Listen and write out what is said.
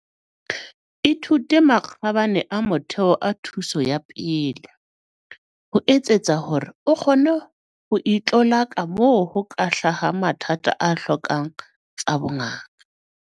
Ithute makgabane a motheo a thuso ya pele, ho etsetsa hore o kgone ho itlolaka moo ho ka hlahang mathata a hlokang tsa bongaka.